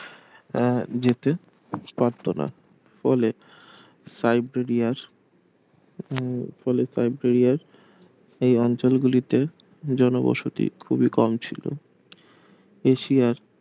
আহ যেতে পারত না বলে সাইবেরিয়ার উম বলে সাইবেরিয়ার এই অঞ্চল গুলিতে জনবসতি খুবই কম ছিল এশিয়ার